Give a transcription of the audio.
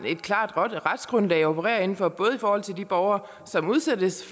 et klart retsgrundlag at operere inden for både i forhold til de borgere som udsættes